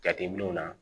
Jateminɛw na